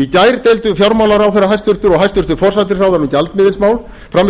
í gær deildu hæstvirtur fjármálaráðherra og hæstvirtur forsætisráðherra um gjaldmiðilsmál frammi fyrir þjóðinni og